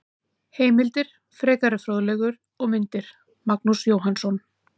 Heimildir, frekari fróðleikur og myndir: Magnús Jóhannsson.